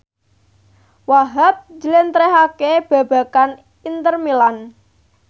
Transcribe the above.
Wahhab njlentrehake babagan Inter Milan